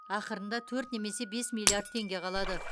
ақырында төрт немесе бес миллиард теңге қалады